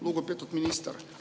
Lugupeetud minister!